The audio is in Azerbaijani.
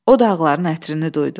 O dağların ətrini duydu.